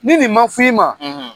Ni nin ma f'i ma,